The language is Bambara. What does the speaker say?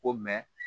Ko